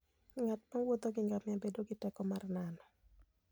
Ng'at mowuotho gi ngamia bedo gi teko mar nano.